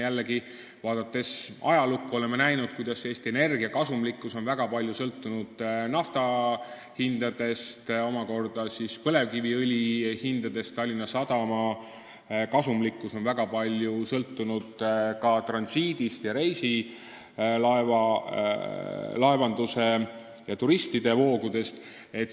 Jällegi, vaadates ajalukku, oleme näinud, et Eesti Energia kasumlikkus on väga palju sõltunud nafta hinnast ja omakorda põlevkiviõli hinnast, Tallinna Sadama kasumlikkus on väga palju sõltunud transiidist ning reisilaevandusest ja turistivoogudest.